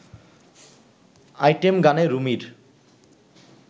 item গানে রুমির